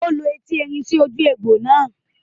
Ó lo eti erin sí ojú egbò náà ní àná